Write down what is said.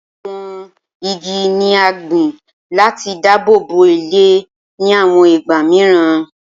Awọn igi ni a gbin lati dabobo ilẹ ni awọn igba miiran